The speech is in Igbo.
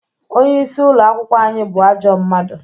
Onye isi ụlọ akwụkwọ anyị bụ ajọ mmadụ